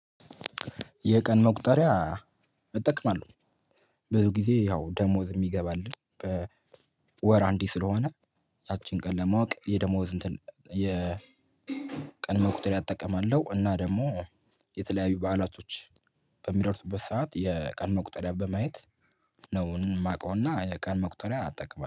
የቀን መቁጠሪያ እጠቅማለሁ ብዙ ጊዜ ያው ደሞዝ የሚገባልን በወር አንዴ ስለሆነ ያችን ቀን ለማወቅ የደሞዝ እንትን የ ቀን መቁጠሪያ እጠቀማለሁ። እና ደግሞ የተለያዩ በዓላቶች በሚደርሱበት ሰዓት የቀን መቁጠሪያ በማየት ነው የማውቀውና የቀን መቁጠሪያ አጠቅመዋለሁ